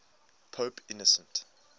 pope innocent